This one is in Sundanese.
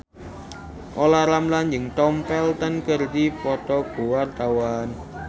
Olla Ramlan jeung Tom Felton keur dipoto ku wartawan